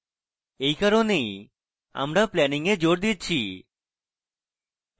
এই কারণেই আমরা planning we জোর দিচ্ছি